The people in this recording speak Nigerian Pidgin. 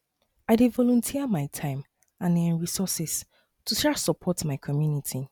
i dey volunteer my time and um resources to um support my community